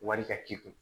Wari ka k'i kun